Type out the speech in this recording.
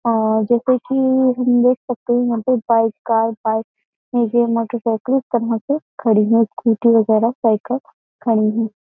आ जेैसे कि हम देख सकते है यहाँ पे बाइक कार बाइक मोटरसाइकिल सब वहाँ पे खड़ी है। स्कूटी वगैरह साइकिल खड़ी है।